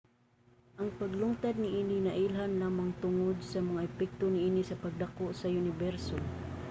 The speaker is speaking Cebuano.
ang paglungtad niini nailhan lamang tungod sa mga epekto niini sa pagdako sa uniberso